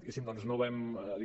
diguéssim no vam